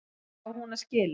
Hverju á hún að skila?